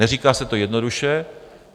Neříká se to jednoduše.